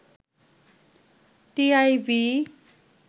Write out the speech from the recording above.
TIB